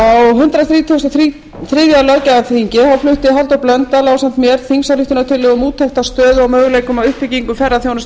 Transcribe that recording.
á hundrað þrítugasta og þriðja löggjafarþingi flutti halldór blöndal ásamt mér þingsályktunartillögu um úttekt á stöðu og möguleikum á uppbyggingu ferðaþjónustu á